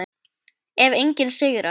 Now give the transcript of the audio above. Ef enginn sigrar.